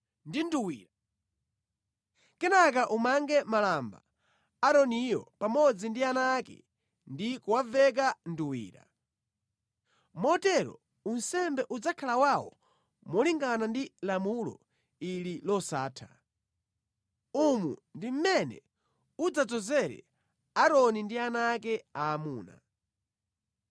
ndi nduwira. Kenaka umange malamba Aaroniyo pamodzi ndi ana ake ndi kuwaveka nduwira. Motero unsembe udzakhala wawo malingana ndi lamulo ili losatha. “Umu ndi mmene udzadzozere Aaroni ndi ana ake aamuna.